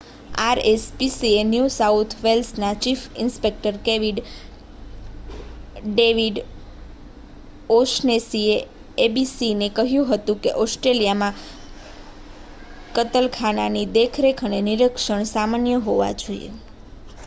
RSPCA new south વેલ્સના chief inspector David ઓ'શનેસીએ એબીસીને કહ્યું હતું કે ઓસ્ટ્રેલિયામાં કતલખાનાની દેખરેખ અને નિરીક્ષણ સામાન્ય હોવા જોઈએ